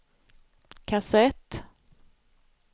kassett